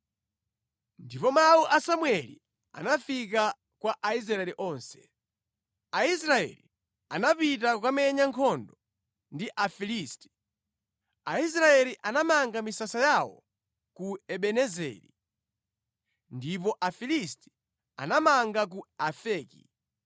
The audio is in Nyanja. Ndipo mawu a Samueli anafika kwa Aisraeli onse. Afilisti Alanda Bokosi la Chipangano Aisraeli anapita kukamenya nkhondo ndi Afilisti. Aisraeli anamanga misasa yawo ku Ebenezeri, ndipo Afilisti anamanga ku Afeki.